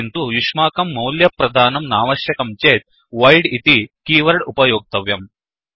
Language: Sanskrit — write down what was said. किन्तु युष्माकं मोल्यप्रदानं नावश्यकं चेत् वोइड् इति कीवर्ड् उपयोक्तव्यम्